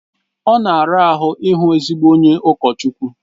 Ọ na-ara ahụ ịhụ ezigbo onye ụkọchukwu